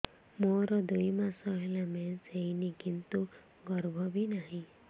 ମୋର ଦୁଇ ମାସ ହେଲା ମେନ୍ସ ହେଇନି କିନ୍ତୁ ଗର୍ଭ ବି ନାହିଁ